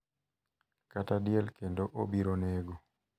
kata diel kendo obiro nego.